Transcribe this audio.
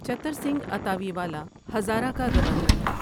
چتھر سنگھ اتاوی والا ہزارہ کا گورنر تھا